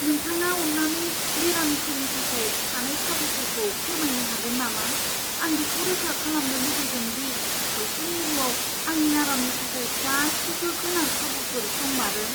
नोंथाङा अन्नानै बेरामिफोरनि थाखाय थानाय खाबुफोरखौ फोरमायनो हागोन नामा? आं बेखौ रोखा खालामनो लुगैदों दि सावस्रि मिरुआव आंनि आरामनि थाखाय गासैबो गोनां खाबुफोर दंमारो।